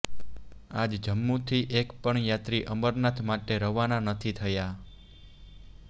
આજ જમ્મુથી એક પણ યાત્રી અમરનાથ માટે રવાના નથી થયા